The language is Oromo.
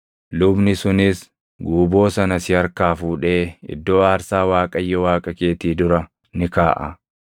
Lubni sunis guuboo sana si harkaa fuudhee iddoo aarsaa Waaqayyo Waaqa keetii dura ni kaaʼa.